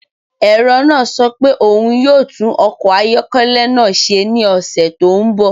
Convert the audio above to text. Ẹ̀rọ náà sọ pé òun yóò tún ọkọ̀ ayọ́kẹ́lẹ́ náà ṣe ní ọ̀sẹ̀ tó ń bọ̀.